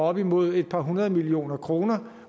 op imod et par hundrede millioner kroner